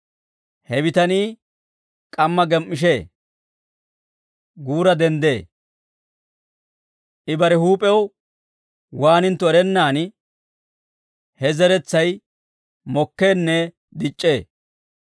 He bitanii k'amma gem"ishee; guura denddee; I bare huup'ew waanintto erennaan, he zeretsay mokkeenne dic'c'ee.